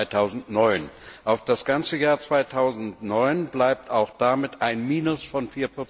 2009. Auf das ganze Jahr 2009 bezogen, bleibt damit ein Minus von